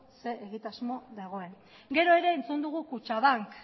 ze egitasmo dagoen gero ere entzun dugu kutxabank